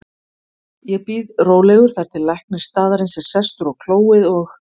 Ég bíð rólegur þar til læknir staðarins er sestur á klóið og